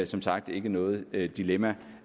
som sagt ikke noget dilemma